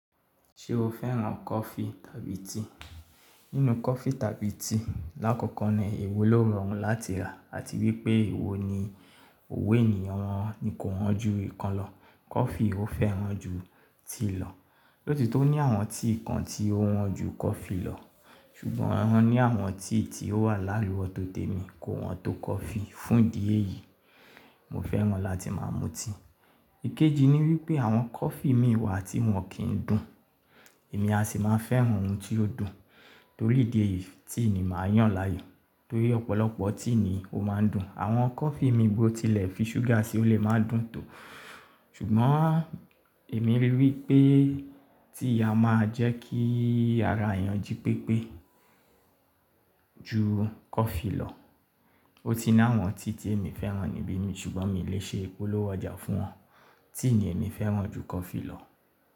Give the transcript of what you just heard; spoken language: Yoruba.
Ṣé o fẹ́ràn coffee tàbí tea? Nínú coffee tàbí tea, lákòókò ni èwo ló rọrùn láti rà àti wípé èwo ni òwe ènìyàn wọn ni kò wọ́n ju ìkan lọ. Coffee ó fẹ́ràn ju tea lọ, lóti tó ní àwọn tea kan tí ó wọ́n ju coffee lọ. Ṣùgbọ́n wọn ní àwọn tea tí ó wà láàlú ọ̀tọ̀tọ̀ mi kò wọ́n tó coffee. Fún ìdí èyí, mo fẹ́ràn láti máa mu tea. Ikeji ni wípé àwọn coffee mi wà tí wọ́n kì ń dùn, èmi a sì máa fẹ́ràn ohun tí ó dùn. Torí ìdí èyí, tea ni màá yàn láàyò torí ọ̀pọ̀lọpọ̀ tea ni ó máa ń dùn. Àwọn coffee mi bó tilẹ̀ fi ṣúgà sí ó lè máa dùn tó. Ṣùgbọ́n èmi ríi wípé tea a máa jẹ́ kí ara èèyàn jí pépé ju coffee lọ. Ó ti ni àwọn tea tí èmi fẹ́ràn níbí mi ṣùgbọ́n mi lè ṣe ìpolówó ọjà fún wọn. Tea ni èmi fẹ́ràn ju coffee lọ.